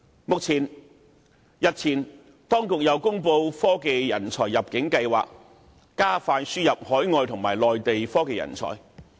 當局日前亦公布"科技人才入境計劃"，加快輸入海外和內地的科研人才。